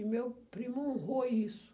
E meu primo honrou isso.